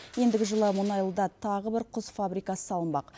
ендігі жылы мұнайлыда тағы бір құс фабрикасы салынбақ